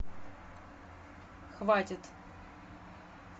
хватит